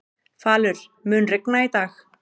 Falur, mun rigna í dag?